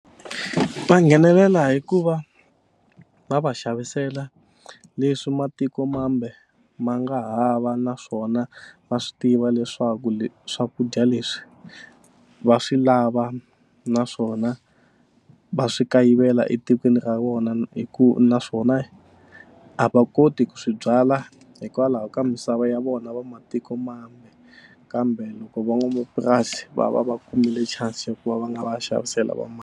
Va nghenelela hi ku va va va xavisela leswi matikomambe ma nga hava naswona va swi tiva leswaku swakudya leswi va swi lava naswona va swi kayivela etikweni ra vona hi ku naswona a va koti ku swi byala hikwalaho ka misava ya vona va matikomambe kambe loko van'wamapurasi va va va kumile chance ku va va nga va ya xavisela va .